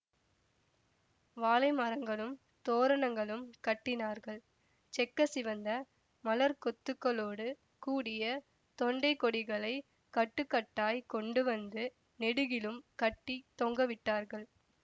வாழை மரங்களும் தோரணங்களும் கட்டினார்கள் செக்க சிவந்த மலர்க் கொத்துக்களோடு கூடிய தொண்டைக் கொடிகளைக் கட்டு கட்டாய்க் கொண்டு வந்து நெடுகிலும் கட்டி தொங்கவிட்டார்கள்